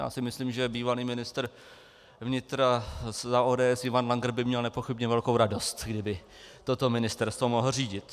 Já si myslím, že bývalý ministr vnitra za ODS Ivan Langer by měl nepochybně velkou radost, kdyby toto ministerstvo mohl řídit.